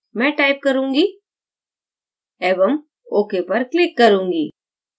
मैं type करूँगी एवं ok पर click करूँगी